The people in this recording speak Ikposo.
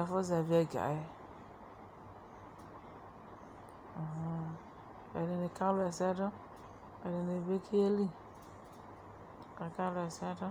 ɛfʋ zɛvɩɛgaɛƲhʋn, Ɛdɩnɩ kawla ɛsɛdʋ , ɛdɩnɩ bɩ keli , kakawla ɛsɛdʋ